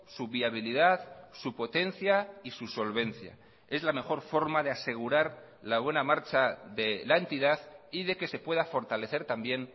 su viabilidad su potencia y su solvencia es la mejor forma de asegurar la buena marcha de la entidad y de que se pueda fortalecer también